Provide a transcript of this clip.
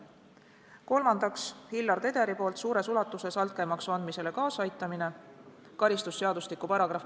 Kolmandaks, Hillar Tederi poolt suures ulatuses altkäemaksu andmisele kaasaaitamine .